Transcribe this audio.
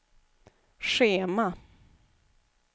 schema